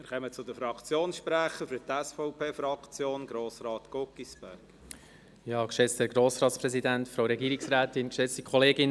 Wir kommen zu den Fraktionssprechern, zuerst Grossrat Guggisberg für die SVP-Fraktion.